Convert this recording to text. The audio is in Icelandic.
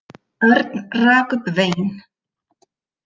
Örn rak upp vein.